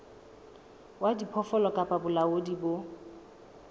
wa diphoofolo kapa bolaodi bo